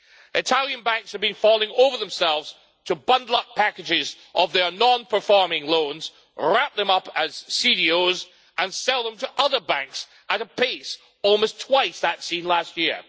Italian banks have been falling over themselves to bundle up packages of their non performing loans, wrap them up as CDOs, and sell them to other banks at a pace almost twice that seen last year.